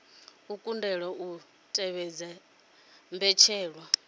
a kundelwa u tevhedza mbetshelwa